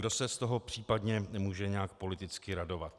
Kdo se z toho případně může nějak politicky radovat?